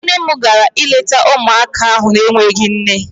Nne m gara ileta ụmụaka ahụ n'enweghị nne.